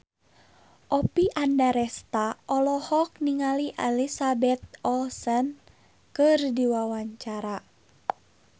Oppie Andaresta olohok ningali Elizabeth Olsen keur diwawancara